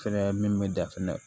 Fɛnɛ min bɛ dan fɛnɛ